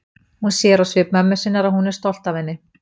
Hún sér á svip mömmu sinnar að hún er stolt af henni.